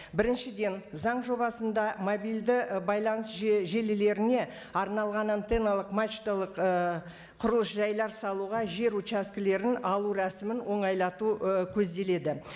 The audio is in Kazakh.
біріншіден заң жобасында мобильді і байланыс желілеріне арналған антенналық мачталық ііі құрылыс жайлар салуға жер участкілерін алу рәсімін оңайлату і көзделеді